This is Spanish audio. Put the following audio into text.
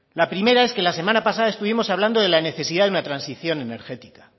la primera es que la semana pasada estuvimos hablando de la necesidad de una transición energética